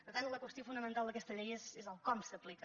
per tant la qüestió fonamental d’aquesta llei és com s’aplica